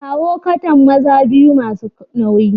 Kawo kattan maza biyu masu nauyi.